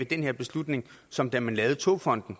det her beslutningsforslag da man lavede togfonden